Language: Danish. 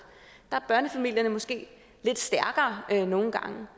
der er børnefamilierne måske nogle gange